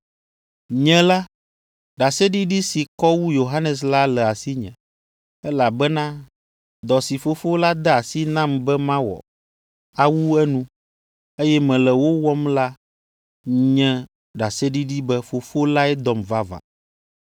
“Nye la, ɖaseɖiɖi si kɔ wu Yohanes la le asinye. Elabena dɔ si Fofo la de asi nam be mawɔ, awu enu, eye mele wo wɔm la nye ɖaseɖiɖi be Fofo lae dɔm vavã.